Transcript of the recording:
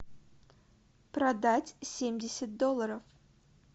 продать семьдесят долларов